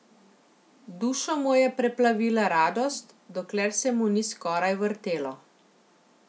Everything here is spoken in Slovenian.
Dušo mu je preplavila radost, dokler se mu ni skoraj vrtelo.